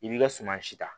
I b'i ka suma si ta